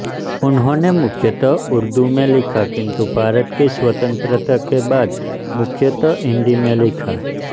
उन्होने मुख्यतः उर्दू में लिखा किन्तु भारत की स्वतंत्रता के बाद मुख्यतः हिन्दी में लिखा